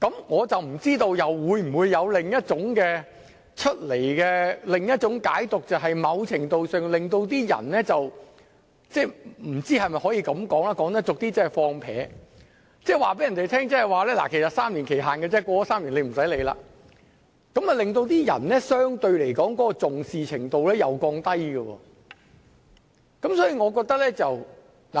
我不知道會否出現另一種解讀，就是在某程度上令人產生散漫的態度，即告訴違法者，其實只有3年檢控時限，過了3年便不用理會，這相對地會令人降低對有關規定的重視程度。